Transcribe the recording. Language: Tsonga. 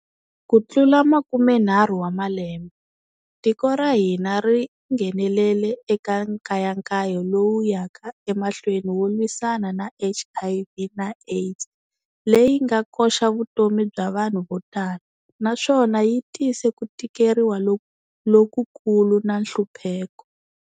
Ku tlula makumenharhu wa malembe, tiko ra hina ri nghenelele eka nkayankayo lowu yaka emahlweni wo lwisana na HIV na AIDS leyi nga koxa vutomi bya vanhu vo tala, naswona yi tise ku tikeriwa lokukulu na nhlupheko.